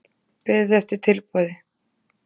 Beðið eftir tilboði